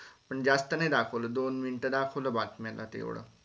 पण जास्त नाही दाखवला दोन minute दाखवल बातम्याला तेवढ